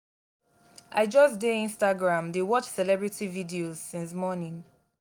i just dey instagram dey watch celebrity videos since morning